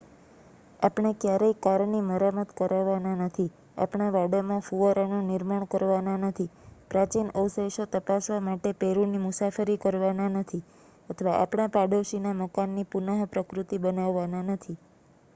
આપણે ક્યારેય કારની મરામત કરવાના નથી આપણા વાડામાં ફુવારાનું નિર્માણ કરવાના નથી પ્રાચિન અવશેષો તપાસવા માટે પેરુની મુસાફરી કરવાના નથી અથવા આપણા પાડોશીના મકાનની પુન પ્રતિકૃતિ બનાવવાના નથી